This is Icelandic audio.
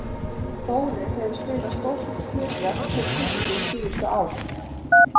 Þórir hefur spilað stórt hlutverk fyrir Fylki síðustu ár.